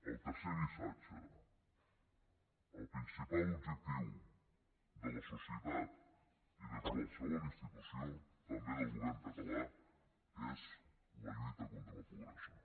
el tercer missatge el principal objectiu de la societat i de qualsevol institució també del govern català és la lluita contra la pobresa